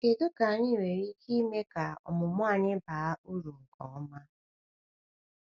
Kedu ka anyị nwere ike ime ka ọmụmụ anyị baa uru nke ọma?